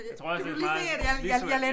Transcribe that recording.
Jeg tror også det er meget visuelt